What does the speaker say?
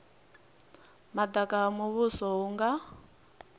madaka ha muvhuso hu nga